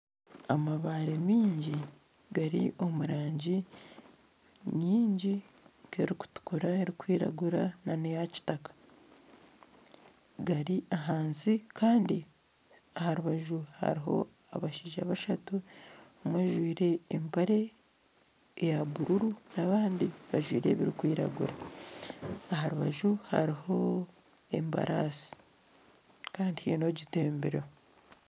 Amabaare mingi gari omu rangi nyingi nka erikutukura ,erikwiragura na neya kitaka gari ahansi kandi aha rubaju hariho abashaija bashatu, omwe ajwaire empare ya buruuru n'abandi bajwaire ebirikwiragura aha rubaju hariho embarasi kandi haine ogitembireho.